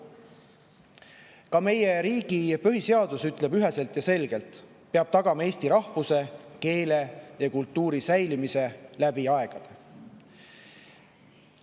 Ka meie riigi põhiseadus ütleb üheselt ja selgelt, et peab tagama eesti rahvuse, keele ja kultuuri säilimise läbi aegade.